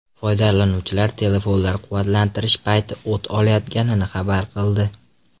Foydalanuvchilar telefonlar quvvatlantirish payti o‘t olayotganini xabar qildi.